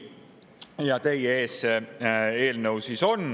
Ja see eelnõu on teie ees.